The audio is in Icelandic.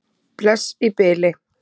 Bless í bili.